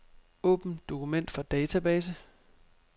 Åbn dokument fra database.